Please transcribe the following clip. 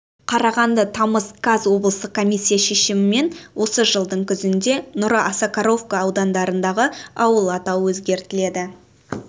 қарағанды тамыз қаз облыстық комиссия шешімімен осы жылдың күзінде нұра осакаровка аудандарындағы ауыл атауы өзгертіледі